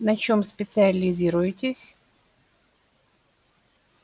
на чём специализируетесь